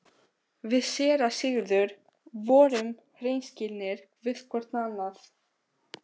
Við séra Sigurður vorum hreinskilnir hvor við annan.